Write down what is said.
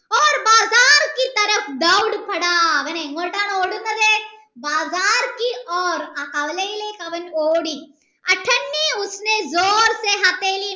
അവൻ എങ്ങോട്ടാണ് ഓടുന്നത കവലയിലേക്ക് അവൻ ഓടി